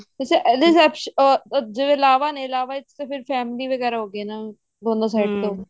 ਵੇਸੇ ਇਹਦੇ ਚ ਅਮ ਲਾਵਾਂ ਨੇ ਇਹਦੇ ਚ ਤਾਂ ਫ਼ੇਰ family ਵਗੇਰਾ ਹੋਗੀ ਨਾ ਦੋਨੋ ਤੋਂ